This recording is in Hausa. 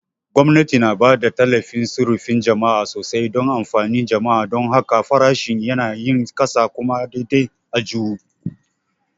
Gwamnati na ba da tallafin sufurin jama'a sosai don amfanin jama'a; don haka, farashin yanayin ƙasa kuma daidai aljihu.